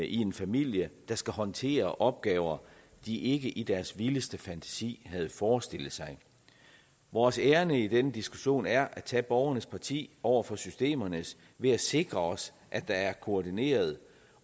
i en familie der skal håndtere opgaver de ikke i deres vildeste fantasi havde forestillet sig vores ærinde i den diskussion er at tage borgernes parti over for systemernes ved at sikre os at der er koordineret